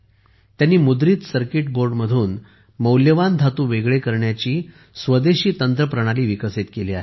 त्यांनी मुद्रित सर्किट बोर्डमधून मौल्यवान धातू वेगळे करण्याची वेगळे करून स्वदेशी तंत्र प्रणाली विकसित केली आहे